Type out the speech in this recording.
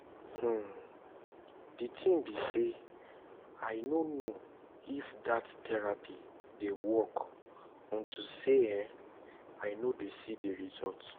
um the thing be say i no know if dat therapy dey work unto say um i no dey see the result